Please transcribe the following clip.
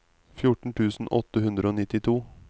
fjorten tusen åtte hundre og nittito